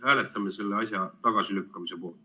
Hääletame selle asja tagasilükkamise poolt.